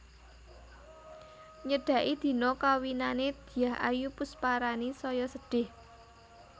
Nyedaki dina kawinane Dyah Ayu Pusparani saya sedih